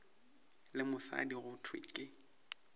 le mosadi go thwe ke